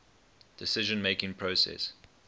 decision making process